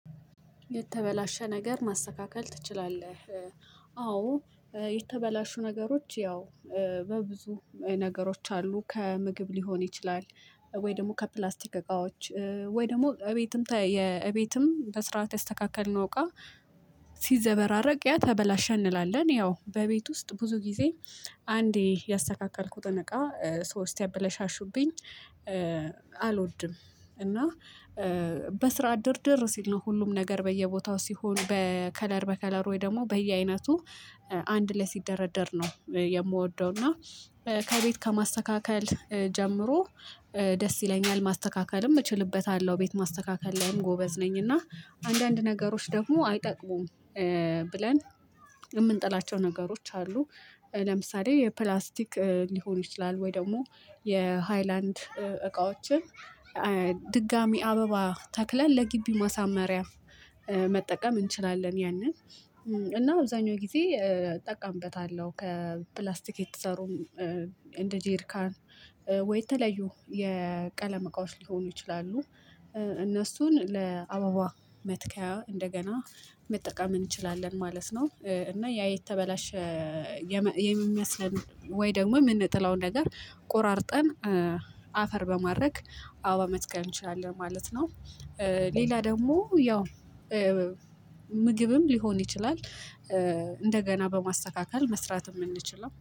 የተበላሸ ነገር ማስተካከል ትችላለህ? አዎ የተበላሹ ነገሮች ያው በብዙ ነገሮች አሉ ከምግብ ሊሆን ይችላል ወይ ደግሞ ከፕላስቲክ እቃዎች ወይ ደግሞ ለቤትም እቤትም በስርዓት ያስተካከልነው እቃ። ሲዘበራረቅ ያ ተበላሸ እንላለን ያው በቤት ውስጥ ብዙ ጊዜ አንዴ የአስተካከልኩትን እቃ ሰው እስቲአበለሻሹብኝ አልወድም። እና በስርዓት ድርድር ሲል ነው ሁሉም ነገር በየቦታው ሲሆን በከለር በከለር ወይ ደግሞ በየአይነቱ አንድ ላይ ሲደረደር ነው የምወደው። እና ከቤት ከማስተካከል ጀምሮ ደስ ይለኛል ማስተካከልም እችልበታለሁ ቤት ማስተካከል ላይም ጎበዝ ነኝ። እና አንዳንድ ነገሮች ደግሞ አይጠቅሙም ብለን የምንጥላቸው ነገሮች አሉ። ለምሳሌ የፕላስቲክ ሊሆን ይችላል ወይ ደግሞ የሃይላንድ እቃዎችን ድጋሚ አበባ ተክለን ለግቢ ማሳመሪያ መጠቀም እንችላለን። ያንን እና አብዛኛው ጊዜ እጠቀምበታለሁ። ከፕላስቲክ የተሰሩም እንደ ጀርካን ወይ የተለዩ የቀለም እቃዎች ሊሆኑ ይችላሉ። እነሱን ለአበባ መትከያ እንደገና መጠቀም እንችላለን ማለት ነው። እና ያ የተበላሸ የሚመስለን ወይ ደግሞ የምንጥለውን ነገር ቆራርጠን አፈር በማድረግ አበባ መትከል እንችላለን ማለት ነው። ሌላ ደግሞ ያው ምግብም ሊሆን ይችላል እንደገና በማስተካከል መስራት የምንችለው